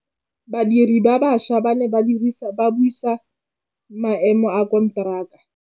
Badiri ba baša ba ne ba buisa maêmô a konteraka.